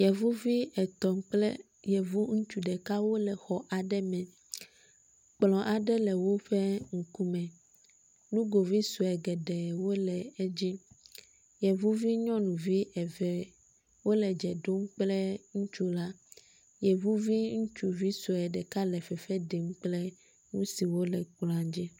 yevuvi etɔ̃ kple yevu ŋutsu ɖeka wóle xɔ aɖe me, kplɔ̃ aɖe le wóƒe ŋkume, nugovisoe geɖee wóle edzi, yevuvi nyɔnuvi eve wóle dzè ɖom kple ŋutsu la, yevuvi ŋutsuvi sɔe ɖeka le fefe ɖem kple ŋusiwó le kplɔadzi